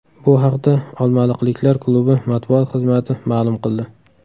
Bu haqda olmaliqliklar klubi matbuot xizmati ma’lum qildi .